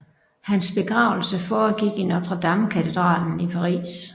Hans begravelse foregik i Notre Dame katedralen i Paris